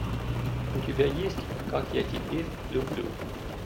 у тебя есть как я теперь люблю